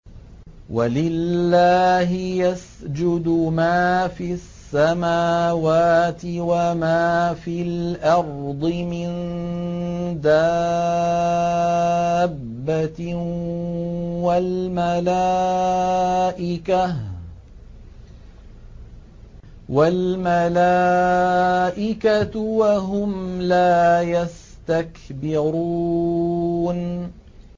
وَلِلَّهِ يَسْجُدُ مَا فِي السَّمَاوَاتِ وَمَا فِي الْأَرْضِ مِن دَابَّةٍ وَالْمَلَائِكَةُ وَهُمْ لَا يَسْتَكْبِرُونَ